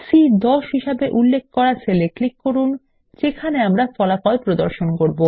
C10 হিসেবে উল্লেখ করা সেল এ ক্লিক করুন যেখানে আমরা এর ফল প্রদর্শন করব